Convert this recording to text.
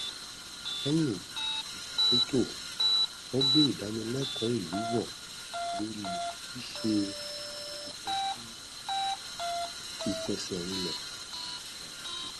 lẹyìn ìṣàtúntò wọn gbé ìdánilẹkọọ ìlú wò lórí ṣíṣe ìtọjú ìfẹsẹrinlẹ ọrọ ajé